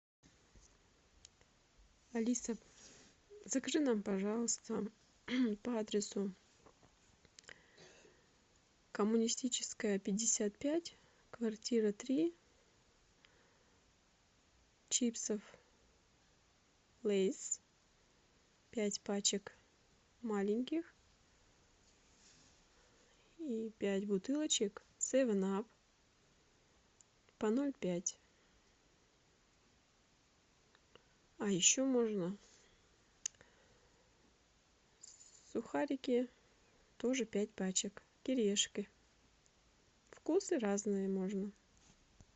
алиса закажи нам пожалуйста по адресу коммунистическая пятьдесят пять квартира три чипсов лейс пять пачек маленьких и пять бутылочек севен ап по ноль пять а еще можно сухарики тоже пять пачек кириешки вкусы разные можно